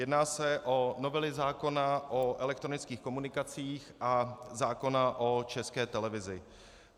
Jedná se o novely zákona o elektronických komunikacích a zákona o České televizi.